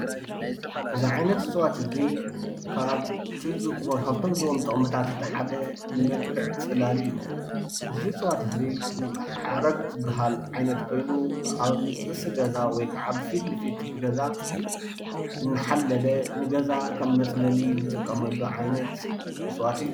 እዚ ዓይነት እፅዋት እዚይ ካብቶሞ ዝህቦም ጥቕምታት ሓደ ንመልክዕ ፅላል እዩ። እዚ እፅዋት እዙይ ሓረግ ዝበሃል ዓይነት ኮይኑ ኣብ ርእሲ ገዛ ወይካዓ ፊትንፊት ገዛ እናሓለለ ንገዛ ከም መፅለሊ እንጥቀመሉ ዓይነት እፅዋት እዩ።